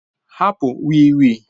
Hapụ wii wii